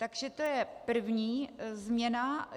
Takže to je první změna.